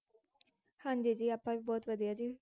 ਹਾਂਜੀ ਜੀ ਆਪਾਂ ਵੀ ਬਹੁਤ ਵਧੀਆ ਜੀ,